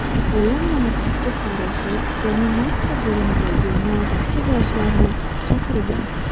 Bo‘lim navbatchi farroshi reanimatsiya bo‘limidagi navbatchi vrachlarni chaqirgan.